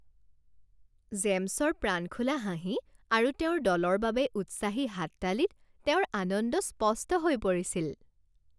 জেমছৰ প্ৰাণখোলা হাঁহি আৰু তেওঁৰ দলৰ বাবে উৎসাহী হাততালিত তেওঁৰ আনন্দ স্পষ্ট হৈ পৰিছিল